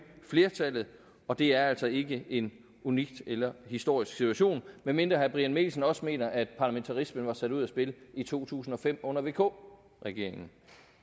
flertallet og det er altså ikke en unik eller historisk situation medmindre herre brian mikkelsen også mener at parlamentarismen var sat ud af spil i to tusind og fem under vk regeringen